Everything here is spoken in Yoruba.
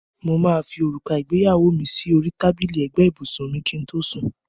Mo máa fi òrùka ìgbéyàwó mi sí orí tábìlì ẹ̀gbẹ́ ibùsùn kí n tó sùn.